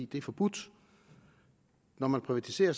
det er forbudt når man privatiserer